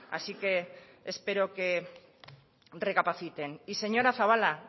así que espero que recapaciten y señora zabala